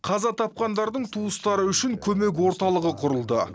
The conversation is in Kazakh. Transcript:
қаза тапқандардың туыстары үшін көмек орталығы құрылды